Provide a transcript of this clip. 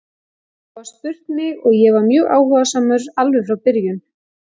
Það var spurt mig og ég var mjög áhugasamur alveg frá byrjun.